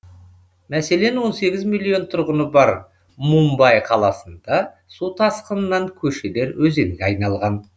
мәселен он сегіз миллион тұрғыны бар мумбай қаласында су тасқынынан көшелер өзенге айналған